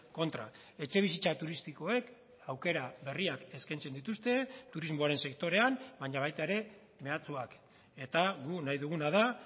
kontra etxebizitza turistikoek aukera berriak eskaintzen dituzte turismoaren sektorean baina baita ere mehatxuak eta guk nahi duguna da